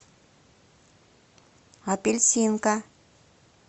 апельсинка